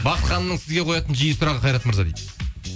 бақыт ханымның сізге қоятын жиі сұрағы қайрат мырза дейді